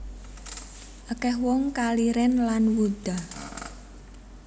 Akeh wong kaliren lan wuda